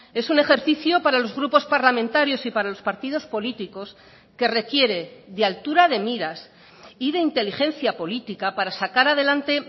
es un ejercicio para los grupos parlamentarios y para los partidos políticos que requiere de altura de miras y de inteligencia política para sacar adelante